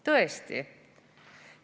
Tõesti?